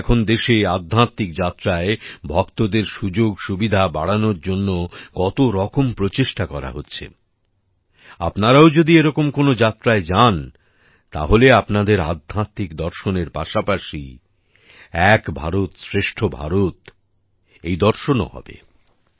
তাই তো এখন দেশে আধ্যাত্মিক যাত্রায় ভক্তদের সুযোগসুবিধা বাড়ানোর জন্য কত রকম প্রচেষ্টা করা হচ্ছে আপনারাও যদি এরকম কোন যাত্রায় যান তাহলে আপনাদের আধ্যাত্মিক দর্শনের পাশাপাশি এক ভারতশ্রেষ্ঠ ভারত এই দর্শনও হবে